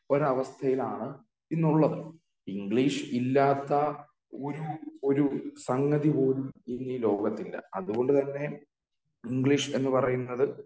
ഒരവസ്ഥയിലാണ് ഇന്നുള്ളത് ഇംഗ്ലീഷ് ഇല്ലാത്ത ഒരു ഒരു സംഗതി പോലും ഇന്നീ ലോകത്തില്ല അതുകൊണ്ട് തന്നെ ഇംഗ്ലീഷ് എന്ന് പറയുന്നത്